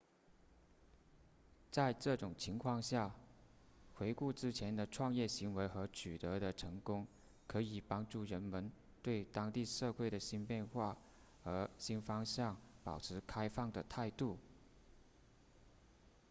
在这种情况下回顾之前的创业行为和取得的成功可以帮助人们对当地教会的新变化和新方向保持开放的态度